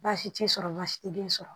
Baasi tɛ sɔrɔ baasi tɛ den sɔrɔ